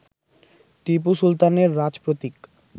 টিপু সুলতানের রাজপ্রতীক